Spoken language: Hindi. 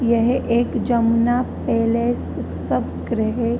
यह एक जमुना पैलेस उत्सव गृह --